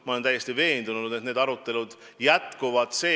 Ma olen täiesti veendunud, et need arutelud jätkuvad.